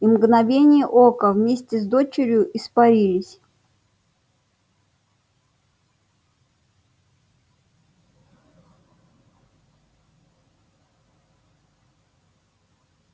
и в мгновение ока вместе с дочерью испарились